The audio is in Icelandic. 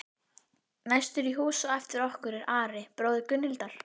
Næstur í hús á eftir okkur er Ari, bróðir Gunnhildar.